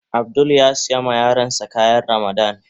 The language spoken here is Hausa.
Abdul ya sayi ma yaran da kayan Ramadan.